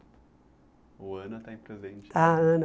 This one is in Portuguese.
O Ana está em presente. Ah Ana